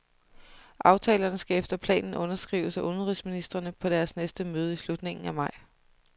Aftalerne skal efter planen underskrives af udenrigsministrene på deres næste møde i slutningen af maj.